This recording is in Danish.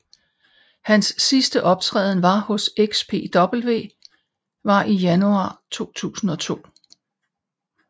Hans sidste optræden hos XPW var i januar 2002